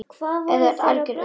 Þú ert algert öngvit!